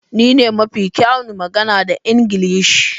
Ni ne mafi kyawun magana da Ingilishi.